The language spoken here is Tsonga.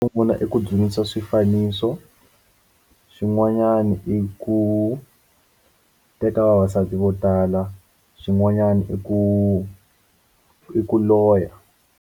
Ndzi vona i ku dyondzisa swifaniso xin'wanyana i ku teka vavasati vo tala xin'wanyana i ku i ku loya.